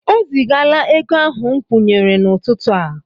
O zigaala ego ahụ m kwụnyere n'ụtụtụ a.